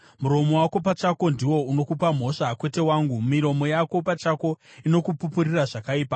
Muromo wako pachako ndiwo unokupa mhosva, kwete wangu, miromo yako pachako inokupupurira zvakaipa.